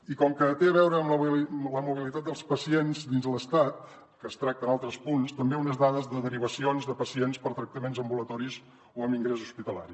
i com que té a veure amb la mobilitat dels pacients dins l’estat que es tracta en altres punts també unes dades de derivacions de pacients per tractaments ambulatoris o amb ingrés hospitalari